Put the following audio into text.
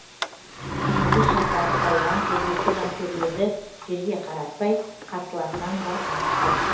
жиырма бес жастағы палуан жергілікті жанкүйерлерді жерге қаратпай қарсыласынан басым түсті